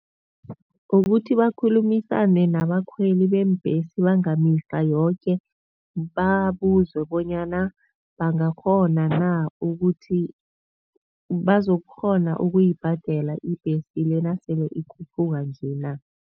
Ukuthi bakhulumisane nabakhweli beembhesi bangamihla yoke, babuze bonyana bangakghona na ukuthi bazokukghona ukuyibhadela ibhesi le nasele ikhuphuka nje na.